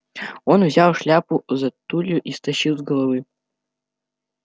он взял шляпу за тулью и стащил с головы